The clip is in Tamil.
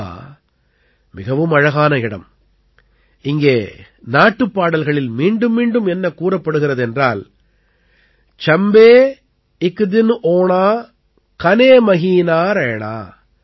சம்பா மிகவும் அழகான இடம் இங்கே நாட்டுப்பாடல்களில் மீண்டும்மீண்டும் என்ன கூறப்படுகிறது என்றால் சம்பே இக் தின் ஓணா கனே மஹீனா ரைணா